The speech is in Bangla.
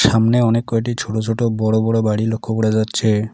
সামনে অনেক কয়টি ছোট ছোট বড় বড় বাড়ি লক্ষ করা যাচ্ছে।